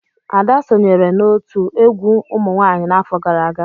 Ada sonyeere n'otu egwu umunwanyi n'afọ gara aga.